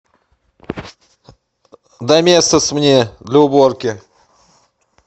доместос мне для уборки